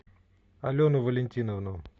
алену валентиновну